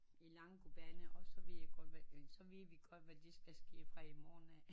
I lange kubaner og så ved vi godt så ved vi godt hvad det skal ske fra i morgen af